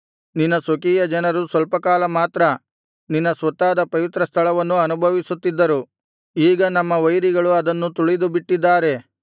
ನಿನ್ನ ಸ್ವಕೀಯಜನರು ಸ್ವಲ್ಪಕಾಲ ಮಾತ್ರ ನಿನ್ನ ಸ್ವತ್ತಾದ ಪವಿತ್ರಸ್ಥಳವನ್ನು ಅನುಭವಿಸುತ್ತಿದ್ದರು ಈಗ ನಮ್ಮ ವೈರಿಗಳು ಅದನ್ನು ತುಳಿದುಬಿಟ್ಟಿದ್ದಾರೆ